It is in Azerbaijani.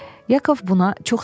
Yakov buna çox sevindi.